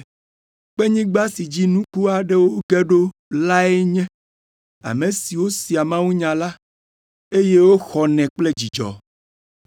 Kpenyigba si dzi nuku aɖewo ge ɖo lae nye ame siwo sea mawunya la, eye woxɔnɛ kple dzidzɔ,